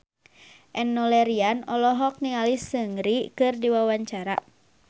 Enno Lerian olohok ningali Seungri keur diwawancara